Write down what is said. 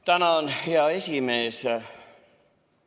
Tänan, hea esimees!